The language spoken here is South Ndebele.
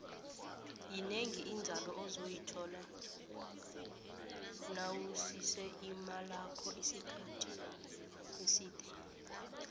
yinengi inzalo ozoyithola nawusise imalakho isikhathi eside